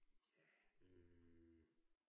Ja, øh